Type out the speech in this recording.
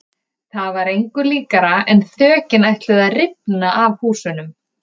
Það var engu líkara en þökin ætluðu að rifna af húsunum.